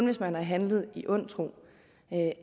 hvis man har handlet i ond tro at